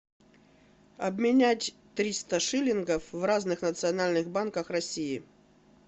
обменять триста шиллингов в разных национальных банках россии